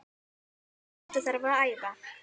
Þetta þarf að æfa.